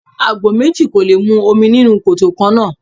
Àgbò méjì kò lè mu omi nínú koto kannáà.